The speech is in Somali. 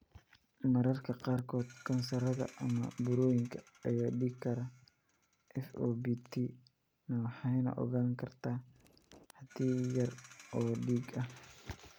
Mararka qaarkood kansarrada ama burooyinka ayaa dhiigi kara, FOBT-na waxay ogaan kartaa xaddi yar oo dhiig ah.